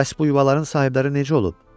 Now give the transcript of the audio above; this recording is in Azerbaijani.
Bəs bu yuvaların sahibləri necə olub?